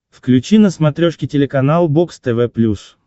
включи на смотрешке телеканал бокс тв плюс